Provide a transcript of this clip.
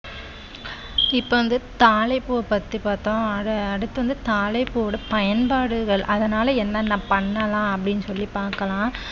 இப்ப வந்து தாழைப்பூவை பத்தி பார்த்தோம் அத அடுத்து வந்து தாழைப்பூ ஓட பயன்பாடுகள் அதனால என்னென்ன பண்ணலாம் அப்படின்னு சொல்லி பார்க்கலாம்